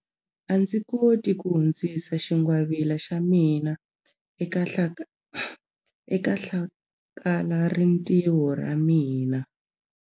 A ndzi koti ku hundzisa xingwavila xa mina eka hlakalarintiho ra mina.